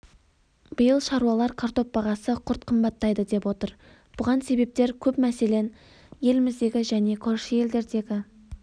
биыл шаруалар картоп бағасы күрт қымбаттайды деп отыр бұған себептер көп мәселен еліміздегі және көрші елдердегі